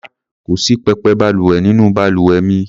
Rárá, kò sí pẹpẹ balùwẹ̀ nínú balùwẹ̀ mi.